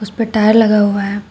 उसपे टायर लगा हुआ है।